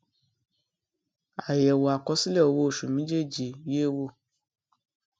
àyẹwò àkọsílẹ owó oṣù méjèèjì yé wò